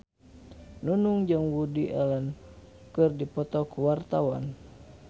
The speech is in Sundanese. Nunung jeung Woody Allen keur dipoto ku wartawan